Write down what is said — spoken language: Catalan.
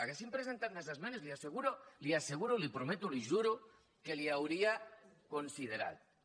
haguessin pogut presentar més esmenes li ho asseguro li ho asseguro li ho prometo li ho juro que les hi hauria considerades